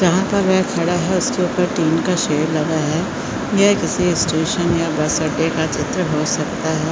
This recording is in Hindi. जहाँ पर में खड़ा हैं उसके ऊपर टीन का शेड लगा है यह किसी इस्टेशन या बस अंङडे का चित्र हो सकता है।